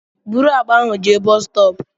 Bụrụ àkpà ahụ jee bọs stọọpu!